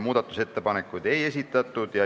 Muudatusettepanekuid ei esitatud.